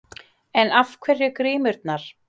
En af hverju grímurnar?